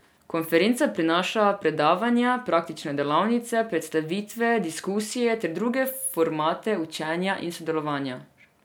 Konferenca prinaša predavanja, praktične delavnice, predstavitve, diskusije ter druge formate učenja in sodelovanja.